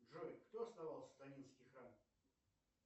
джой кто основал сатанинский храм